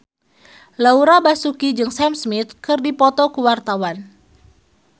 Laura Basuki jeung Sam Smith keur dipoto ku wartawan